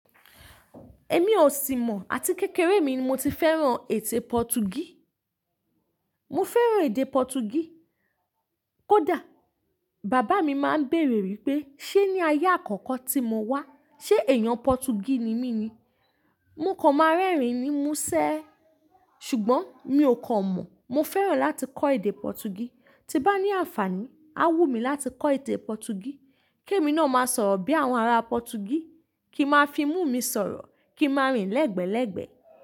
Ẹ̀mí ò sì mọ̀ àti kékeré mi ni mo ti fẹ́ràn ètè Pọtugí. Mo fẹ́ràn èdè Pọtugí. Kódà bàbá mi máa ń béèrè wípé ṣé ní ayé àkọ́kọ́ tí mo wá, ṣé èèyàn Pọtugí ni mí ní. Mó kàn máa rẹ́rìn ní mú ṣé. Ṣùgbọ́n mí ò kàn mọ̀. Mo fẹ́ràn láti kọ́ èdè Pọtugí. Tí bá ní àǹfààní, a wù mí láti kọ́ èdè Pọtugí, kí èmi náà máa sọ̀rọ̀ bí àwọn ará Pọtugí, kí n máa fi mú mi sọ̀rọ̀, kí n máa rìn lẹ́gbẹ́ẹ́lẹ́gbẹ́.